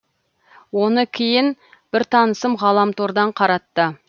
оны кейін бір танысым ғаламтордан қаратты